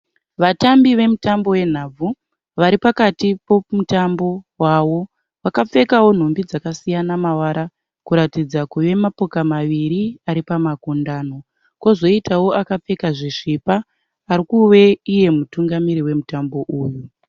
Vatambi vemutambo wenhabvu vari pakati pomutambo wavo vakapfekawo nhumbi dzakasiyana mavara kuratidza kuve mapoka maviri aripamakundano kozoitawo akapfeka zvisvipa ari kuve iye mutungamiri wemutambo uyu.